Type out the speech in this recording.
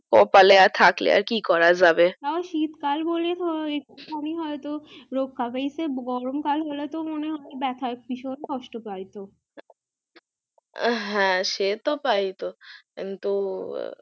কপালে থাকলে আর কি করা যাবে শীত কাল বলে একটু খানি হয়তো রক্ষা হয়েছে গরম কাল হলে তো মনে হয় ব্যাথায় ভীষণ কষ্ট পাইতো আ হ্যা সে তো পাইতো কিন্তু